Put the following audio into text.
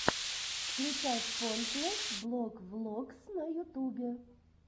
включай пойнтлесс блог влогс на ютубе